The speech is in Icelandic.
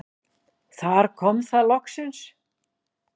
Þar kom það loksins.